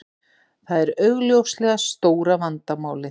Það er augljóslega stóra vandamálið